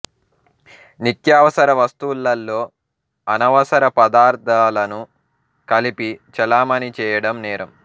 నిత్యావసర వస్తువులలో అనవసర పదార్ధాలను కలిపి చలామణీ చేయడం నేరం